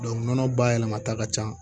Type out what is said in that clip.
nɔnɔ bayɛlɛmata ka ca